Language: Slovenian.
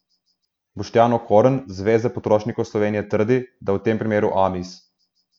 Boštjan Okorn, z Zveze potrošnikov Slovenije trdi, da v tem primeru Amis.